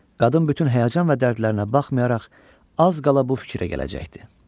Qadın bütün həyəcan və dərdlərinə baxmayaraq, az qala bu fikrə gələcəkdi.